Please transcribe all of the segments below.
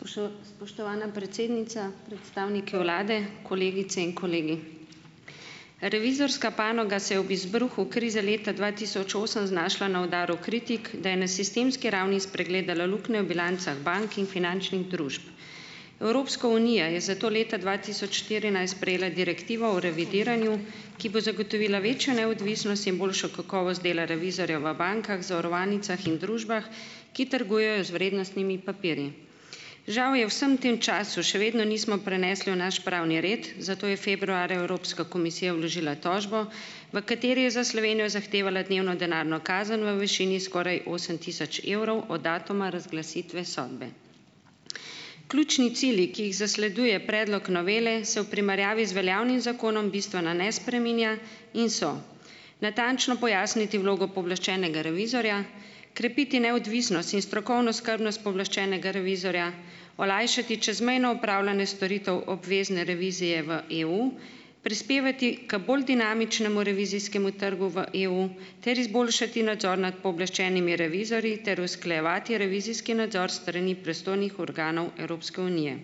Spoštovana predsednica, predstavniki vlade, kolegice in kolegi. Revizorska panoga se je ob izbruhu krize leta dva tisoč osem znašla na udaru kritik, da je na sistemski ravni spregledala luknjo v bilancah bank in finančnih družb. Evropska unija je zato leta dva tisoč štirinajst sprejela direktivo o revidiranju, ki bo zagotovila večjo neodvisnost in boljšo kakovost dela revizorja v bankah, zavarovalnicah in družbah, ki trgujejo z vrednostnimi papirji. Žal je vsem tem času še vedno nismo prenesli v naš pravni red, zato je februarja Evropska komisija vložila tožbo, v kateri je za Slovenijo zahtevala dnevno denarno kazen v višini skoraj osem tisoč evrov od datuma razglasitve sodbe. Ključni cilji, ki jih zasleduje predlog novele, se v primerjavi z veljavnim zakonom bistveno ne spreminja in so: natančno pojasniti vlogo pooblaščenega revizorja, krepiti neodvisnost in strokovno skrbnost pooblaščenega revizorja, olajšati čezmejno upravljanje storitev obvezne revizije v EU, prispevati k bolj dinamičnemu revizijskemu trgu v EU, ter izboljšati nadzor nad pooblaščenimi revizorji ter usklajevati revizijski nadzor s strani pristojnih organov Evropske unije.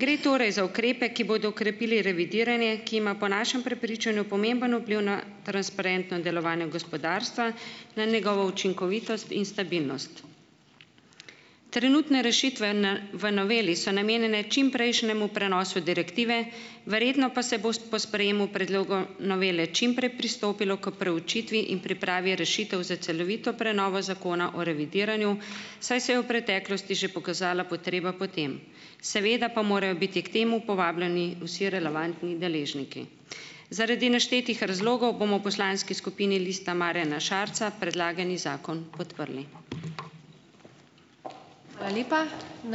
Gre torej za ukrepe, ki bodo krepili revidiranje, ki ima po našem prepričanju pomemben vpliv na transparentno delovanje gospodarstva, na njegovo učinkovitost in stabilnost. Trenutne rešitve n v noveli so namenjene čimprejšnjemu prenosu direktive, verjetno pa se bo po sprejemu predloga novele čim prej pristopilo k preučitvi in pripravi rešitev za celovito prenovo Zakona o revidiranju, saj se je v preteklosti že pokazala potreba po tem. Seveda pa morajo biti k temu povabljeni vsi relevantni deležniki. Zaradi naštetih razlogov bomo v poslanski skupini Lista Marjana Šarca predlagani zakon podprli.